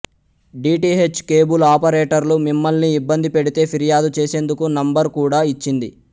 DTH cable ఆపరేటర్లు మిమ్మల్ని ఇబ్బంది పెడితే ఫిర్యాదు చేసేందుకు నంబర్ కూడా ఇచ్చింది